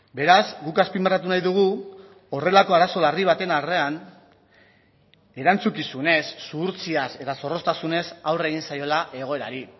beraz guk azpimarratu nahi dugu horrelako arazo larri baten aurrean erantzukizunez zuhurtziaz eta zorroztasunez aurre egin zaiola egoerari